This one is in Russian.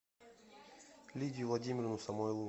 лидию владимировну самойлову